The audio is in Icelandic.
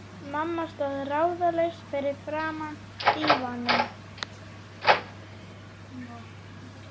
Mamma stóð ráðalaus fyrir framan dívaninn.